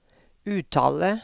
uttale